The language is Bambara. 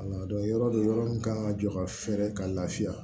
yɔrɔ dɔ yɔrɔ min kan ka jɔ ka fɛɛrɛ ka lafiya